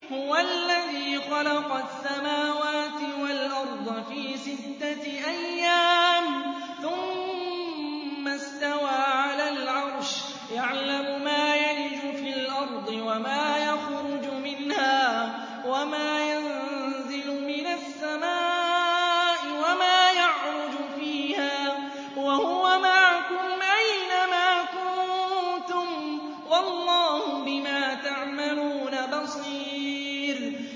هُوَ الَّذِي خَلَقَ السَّمَاوَاتِ وَالْأَرْضَ فِي سِتَّةِ أَيَّامٍ ثُمَّ اسْتَوَىٰ عَلَى الْعَرْشِ ۚ يَعْلَمُ مَا يَلِجُ فِي الْأَرْضِ وَمَا يَخْرُجُ مِنْهَا وَمَا يَنزِلُ مِنَ السَّمَاءِ وَمَا يَعْرُجُ فِيهَا ۖ وَهُوَ مَعَكُمْ أَيْنَ مَا كُنتُمْ ۚ وَاللَّهُ بِمَا تَعْمَلُونَ بَصِيرٌ